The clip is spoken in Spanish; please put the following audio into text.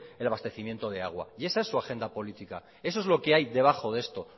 el abastecimiento de agua y esa en su agenda política eso es lo que hay debajo de esto